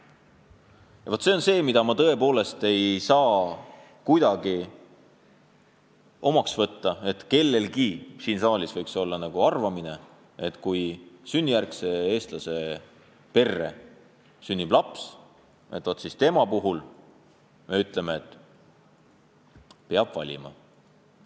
Vaat see on asi, mida ma tõepoolest ei saa kuidagi omaks võtta, et keegi siin saalis võiks arvata, et kui sünnijärgse Eesti kodaniku perre sünnib laps, siis millalgi peab ta kahe kodakondsuse vahel valima.